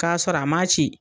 K'a sɔrɔ a ma ci.